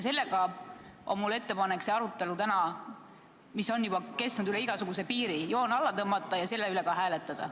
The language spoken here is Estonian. Ühtlasi on mul ettepanek arutelule, mis on juba kestnud üle igasuguse piiri, joon alla tõmmata ja otsuse üle hääletada.